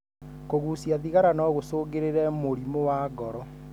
Kũgucia thigara no gũcungĩrĩre mũrimũ wa ngoro.